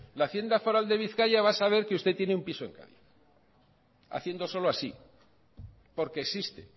la hacienda foral de bizkaia va a saber que usted tiene un piso en cádiz haciendo solo así porque existe